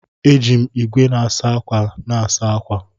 Eji m igwe na-asa ákwà na-asa ákwà.